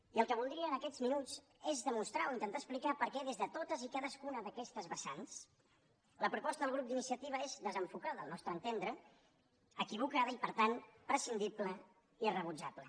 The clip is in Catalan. i el que voldria en aquests minuts és demostrar o intentar explicar per què des de totes i cadascuna d’aquestes vessants la proposta del grup d’iniciativa és desenfocada al nostre entendre equivocada i per tant prescindible i rebutjable